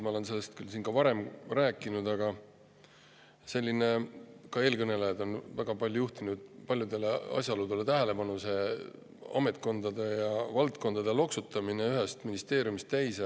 Ma olen sellest küll siin ka varem rääkinud ja ka eelkõnelejad on juhtinud paljudele asjaoludele tähelepanu, näiteks ametkondade ja valdkondade loksutamisele ühest ministeeriumist teise.